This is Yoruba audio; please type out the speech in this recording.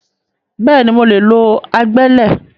Bẹ́ẹ̀ni, mo lè lo agbẹ́lẹ̀